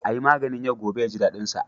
A yi maganin yau gobe ya ji daɗinsa.